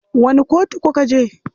Wani kotu kuka je?